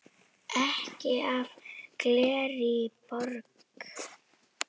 Ekki af Gallerí Borg.